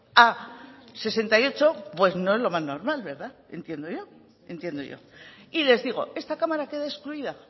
a sesenta y ocho pues no es lo más normal verdad entiendo yo entiendo yo y les digo esta cámara queda excluida